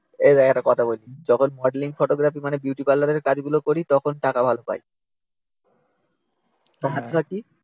এই দেখ একটা কথা বলি শোন যখন মডেলিং ফটোগ্রাফি মানে বিউটি পার্লার এর কাজগুলি করি তখন টাকা ভাল পাই কাজটা কী?